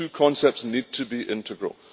Those two concepts need to be integral.